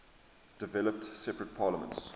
developed separate parliaments